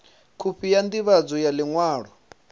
khophi ya ndivhadzo ya liṅwalo